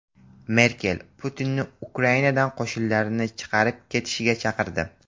Merkel Putinni Ukrainadan qo‘shinlarini chiqarib ketishga chaqirdi.